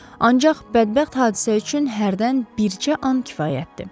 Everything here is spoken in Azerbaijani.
Ancaq bədbəxt hadisə üçün hərdən bircə an kifayətdir.